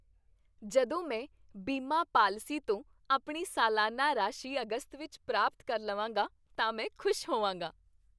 ਜਦੋਂ ਮੈਂ ਬੀਮਾ ਪਾਲਿਸੀ ਤੋਂ ਆਪਣੀ ਸਾਲਾਨਾ ਰਾਸ਼ੀ ਅਗਸਤ ਵਿੱਚ ਪ੍ਰਾਪਤ ਕਰ ਲਵਾਂਗਾ ਤਾਂ ਮੈਂ ਖੁਸ਼ ਹੋਵਾਂਗਾ।